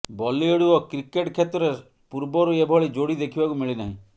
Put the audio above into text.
ବଲିଉଡ ଓ କ୍ରିକେଟ କ୍ଷେତ୍ରରେ ପୂର୍ବରୁ ଏଭଳି ଯୋଡ଼ି ଦେଖିବାକୁ ମିଳିନାହିଁ